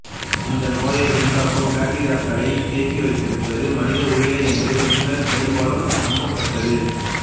இந் நோயை உண்டாக்கும் பக்டீரியாக்களைத் தேக்கி வைத்திருப்பது மனித உடலே என்று முன்னர் பெரும்பாலும் நம்பப்பட்டது